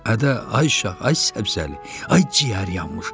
Ədə ay şah, ay Səbzəli, ay ciyər yanmış.